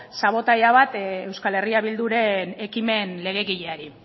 sabotaje bat euskal herria bilduren ekimen legegileari